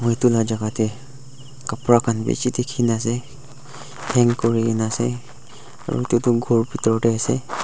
etu lajaka dae kabra kan bishi tikina ase hang kurina ase kor bitor dae ase.